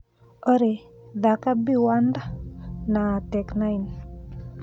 Olly thaka be warned na tech nine